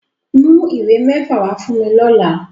Mu iwe mefa wa fun mi lọla!